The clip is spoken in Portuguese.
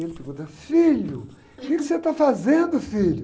Ele pergunta, filho, o que você está fazendo, filho?